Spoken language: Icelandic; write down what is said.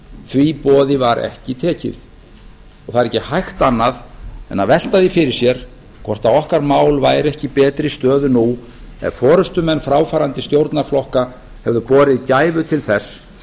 því boði var ekki tekið og það er ekki hægt annað en velta því fyrir sér hvort okkar mál væru ekki í betri stöðu nú ef forustumenn fráfarandi stjórnarflokka hefðu borið gæfu til þess